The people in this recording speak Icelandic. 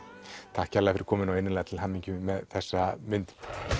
takk kærlega fyrir komuna og innilega til hamingju með þessa mynd